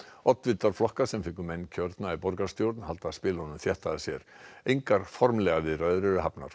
oddvitar flokka sem fengu menn kjörna í borgarstjórn halda spilunum þétt að sér engar formlegar viðræður eru hafnar